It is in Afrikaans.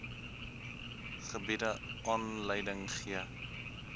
gebiede aanleiding gee